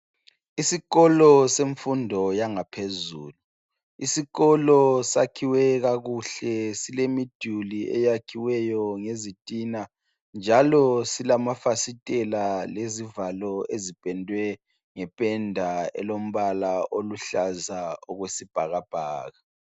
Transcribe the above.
Isikolo semfundo yangaphezulu Isikolo sakhiwe kakuhle silemiduli eyakhiweyo ngezitina njalo silama fasitela lezivalo ezipendwe nge penda elombala oluhlaza okwesibhakabhaka.